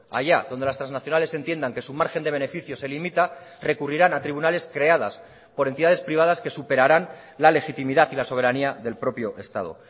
allá donde las trasnacionales entiendan que su margen de beneficios se limita recurrirán a tribunales creadas por entidades privadas que superaran la legitimidad y la soberanía del propio estado